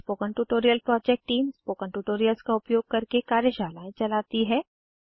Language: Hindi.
spoken tutorial project team spoken tutorials का उपयोग करके कार्यशालाएं चलाती है